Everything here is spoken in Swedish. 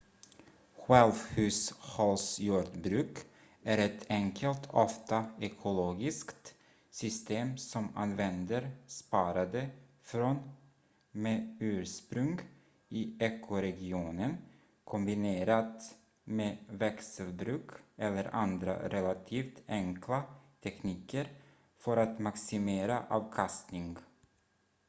självhushållsjordbruk är ett enkelt ofta ekologiskt system som använder sparade frön med ursprung i ekoregionen kombinerat med växelbruk eller andra relativt enkla tekniker för att maximera avkastning